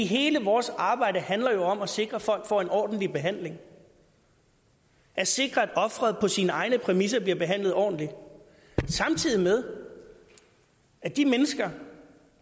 hele vores arbejde handler jo om at sikre at folk får en ordentlig behandling at sikre at ofret på sine egne præmisser bliver behandlet ordentligt samtidig med at de mennesker